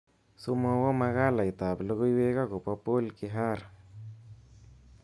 Somowo makalaitab logoiwek akobo Paul Kihara